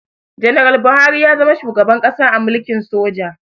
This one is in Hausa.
Ganaral Buhari ya zama shugaban ƙasa a mulkin soja